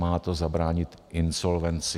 Má to zabránit insolvenci.